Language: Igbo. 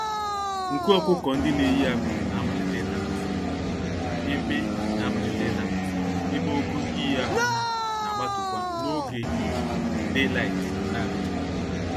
Nku ọkụkọ-ndị-neyi-ákwà na-amalite ịdapụsị, ebe na-amalite ịdapụsị, ebe ogo iyi ákwà ha nagbatu-kwa n'oge ìhè (daylight) n'adịchaghị.